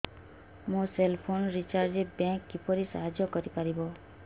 ମୋ cell phone recharge ରେ bank କିପରି ସାହାଯ୍ୟ କରିପାରିବ